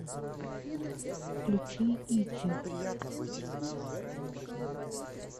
включи ичи